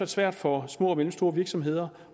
svært for små og mellemstore virksomheder